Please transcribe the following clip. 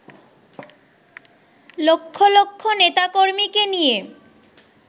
লক্ষ লক্ষ নেতাকর্মীকে নিয়ে